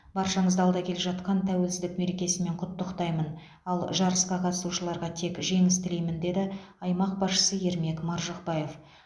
баршаңызды алда келе жатқан тәуелсіздік мерекесімен құттықтаймын ал жарысқа қатысушыларға тек жеңіс тілеймін деді аймақ басшысы ермек маржықпаев